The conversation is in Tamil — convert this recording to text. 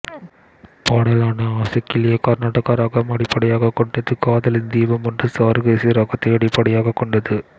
பாடலான ஆசைக்கிளியே கர்நாடக ராகம் அடிப்படையாக கொண்டது காதலின் தீபம் ஒன்று சாருகேசி ராகத்தை அடிப்படையாக கொண்டது